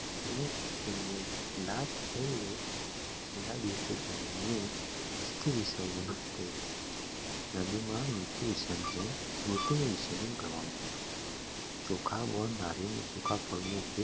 અને તેમનું લાભ છદ ગણપતિ વિસર્જન નદીમાં મૂર્તિનું વિસર્જન કરવામાં આવે છે ચોખા, ગોળ, નારિયેળ અને સૂકા ફળનો ઉપયોગ